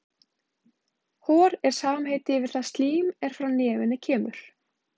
Hor er samheiti yfir það slím er frá nefinu kemur.